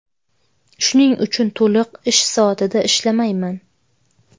Shuning uchun to‘liq ish soatida ishlamayman.